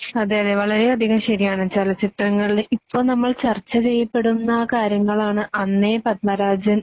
അതേയതേ വളരെയധികം ശരിയാണ്. ചലച്ചിത്രങ്ങളില് ഇപ്പൊ നമ്മൾ ചർച്ചചെയ്യപ്പെടുന്ന കാര്യങ്ങളാണ് അന്നേ പദ്‌മരാജൻ